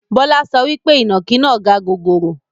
Bọlá so wípé ìnàkí náà gaa gogoro